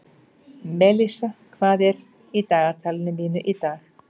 Melissa, hvað er í dagatalinu mínu í dag?